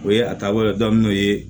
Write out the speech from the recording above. O ye a taabolo ka daminɛ n'o ye